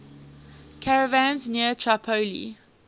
caravans near tripoli